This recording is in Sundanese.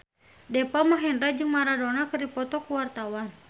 Deva Mahendra jeung Maradona keur dipoto ku wartawan